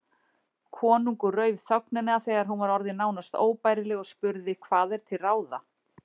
Konungur rauf þögnina þegar hún var orðin nánast óbærileg og spurði:-Hvað er til ráða?